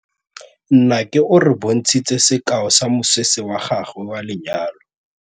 Nnake o re bontshitse sekaô sa mosese wa gagwe wa lenyalo.